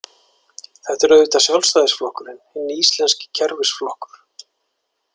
Þetta er auðvitað Sjálfstæðisflokkurinn, hinn íslenski kerfisflokkur.